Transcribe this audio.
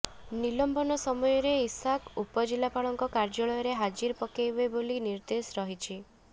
ନିଲମ୍ବନ ସମୟରେ ଇଶାକ ଉପଜିଲ୍ଲାପାଳଙ୍କ କାର୍ଯ୍ୟାଳୟରେ ହାଜିରା ପକେଇବେ ବୋଲି ନିର୍ଦ୍ଦେଶ ରହିଛି